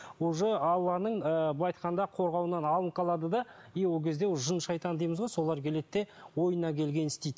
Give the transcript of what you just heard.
уже алланың ы былай айтқанда қорғауынан алынып қалады да и ол кезде уже жын шайтан дейміз ғой солар келеді де ойына келгенін істейді